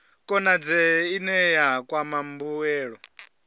konadzee ine ya kwama mbuelo